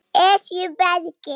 Esjubergi